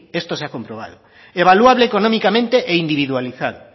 esto se ha comprobado evaluable económicamente e individualizado